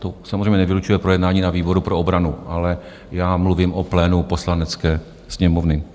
To samozřejmě nevylučuje projednání na výboru pro obranu, ale já mluvím o plénu Poslanecké sněmovny.